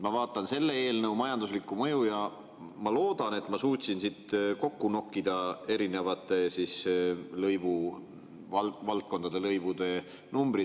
Ma vaatan selle eelnõu majanduslikku mõju ja loodan, et ma suutsin siit kokku nokkida erinevate valdkondade lõivude.